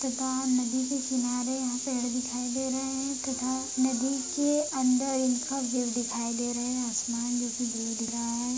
नदी के किनारे यहाँ पेड़ दिखाई दे रहे है तथा नदी के अंदर इनका व्यू दिखाई दे रहे है आसमान --